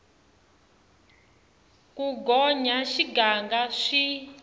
ku gonya xiganga swi hlola xiehlo